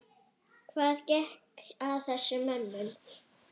Hvað gekk að þessum mönnum?